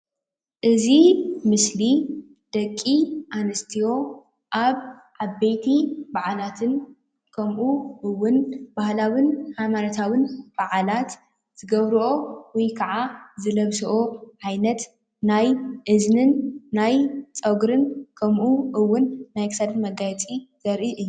እዚ ምስሊ ደቂ ኣንስትዮ ኣብ ዓበይቲ ባዓላትን ከምኡ እውን ባህላዊን ሃይማኖታውን ባዓላት ዝገብረኦ ወይከዓ ዝለብሶኦ ዓይነት ናይ እዝንን ናይ ፀጉርን ከምኡ እውን ናይ ክሳድ መጋየፂ ዘሪኢ እዩ።